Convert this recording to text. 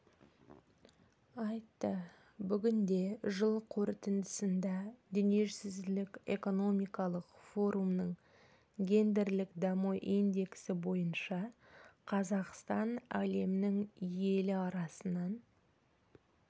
айтты бүгінде жыл қорытындысында дүниежүзілік экономикалық форумның гендерлік даму индексі бойынша қазақстан әлемнің елі арасынан